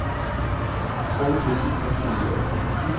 tolv tusen seks hundre og femten